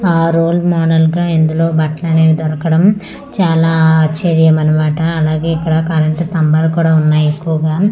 ఆ role model గా ఇందులో బట్టలు అనేవి దొరకడం చాలా ఆశ్చర్యం అనమాట అలాగే ఇక్కడ కరెంటు స్తంభాలు కూడా ఉన్నాయి ఎక్కువగా.